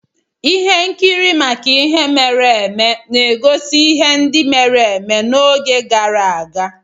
Ihe nkiri maka ihe mere eme na-egosi ihe ndị mere eme n'oge gara aga.